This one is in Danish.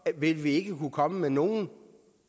vil vi ikke kunne komme med nogen